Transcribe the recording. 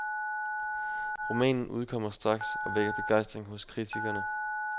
Romanen udkommer straks og vækker begejstring hos kritikerne.